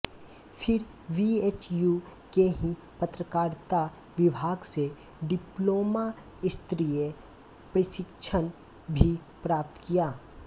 फिर बीएचयू के ही पत्रकारिता विभाग से डिप्लोमा स्तरीय प्रशिक्षण भी प्राप्त किया